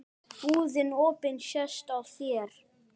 Ragný er aðjunkt við HÍ.